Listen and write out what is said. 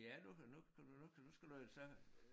Ja nu hører nu kan du nu kan du nu kan du skal du så